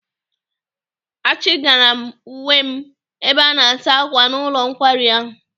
Achị gara m uwe m ebe ana-asa akwa n'ụlọ nkwari ahụ.